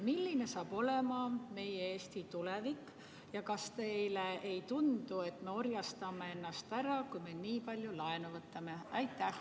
Milline saab olema meie Eesti tulevik ja kas teile ei tundu, et me orjastame ennast ära, kui me nii palju laenu võtame?